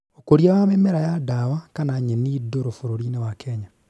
Ũkũria wa mĩmera ya ndawa kana nyeni ndũrũ bũrũri-inĩ wa Kenya